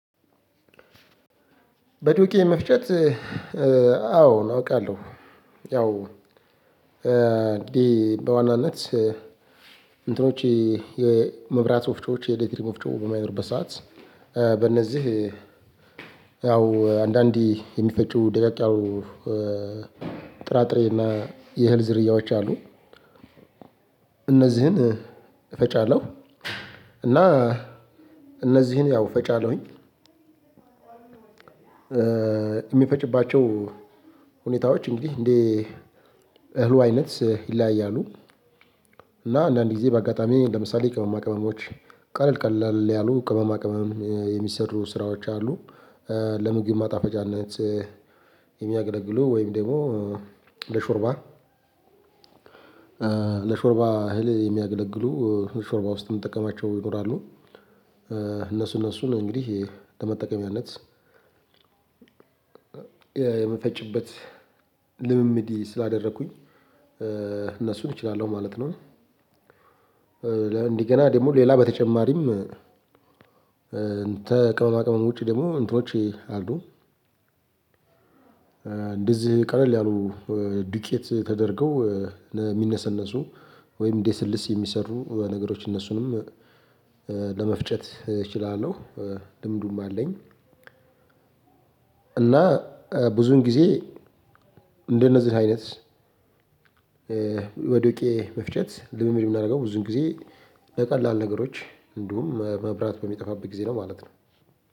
በዱቄ መፍጨት አዎ አውቃለሁ። ያው እንዲህ በዋናነት እንትኖች የመብራት ወፍጮዎች የኤሌክትሪክ ወፍጮዎች በማይኖሩበት ሰዓት በእነዚህ ያው አንዳንዴ የሚፈጩ ደቀቅ ያሉ ጥራጥሬና የእህል ዝርያዎች አሉ። እነዚህን እፈጫለሁ እና እነዚህን ያው እፈጫለሁኝ። የሚፈጭባቸው ሁኔታዎች እንግዲህ እንደ እህሉ አይነት ይለያያሉ። እና አንዳንድ ጊዜ በአጋጣሚ ለምሳሌ ቅመማ ቅመሞች ቀለል ቀለል ያሉ ቅመማ ቅመም የሚሰሩ ስራዎች አሉ። ለምግብ ማጣፈጫነት የሚያገለግሉ ወይም ደግሞ ለሾርባ ለሾርባ እህል የሚያገለግሉ ሾርባ ውስጥ የምንጠቀማቸው ይኖራሉ። እነሱ እነሱ ላይ እንግዲህ ለመጠቀሚያነት የምፈጭበት ልምምድ ስላደረኩኝ እነሱን እችላለሁ ማለት ነው። እንደገና ደግሞ ሌላ በተጨማሪም እንተ ከቅመማ ቅመም ውጪ ደግሞ እንትኖቼ አሉ። እንደዚህ ቀለል ያሉ ዱቄት ተደርገው የሚነሰነሱ ወይም እንደ ስልስ የሚሰሩ ነገሮች እነሱንም ለመፍጨት እችላለሁ ልምዱም አለኝ። እና ብዙን ጊዜ እንደነዚህ አይነት ወዶቄ መፍጨት ልምምድ የማደርገው ብዙን ጊዜ በቀላል ነገሮች እንዲሁም መብራት በሚጠፋበት ጊዜ ነው ማለት ነው።